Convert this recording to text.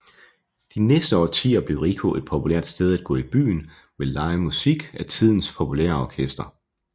De næste årtier blev Rico et populært sted at gå i byen med live musik af tidens populære orkestre